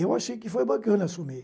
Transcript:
Eu achei que foi bacana assumir.